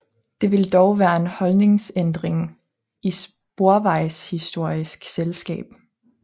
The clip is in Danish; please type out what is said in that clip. Det ville dog kræve en holdningsændring i Sporvejshistorisk Selskab